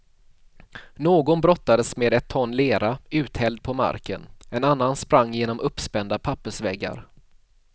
Någon brottades med ett ton lera uthälld på marken, en annan sprang genom uppspända pappersväggar.